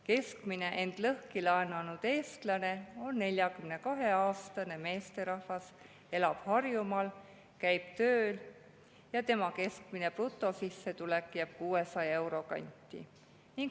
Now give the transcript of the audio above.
Keskmine end lõhki laenanud eestlane on 42‑aastane meesterahvas, kes elab Harjumaal, käib tööl ja tema keskmine brutosissetulek jääb 600 euro kanti.